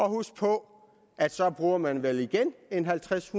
huske på at så bruger man vel igen halvtreds